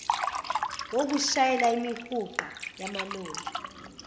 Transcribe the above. wokushayela imihuqa yamaloli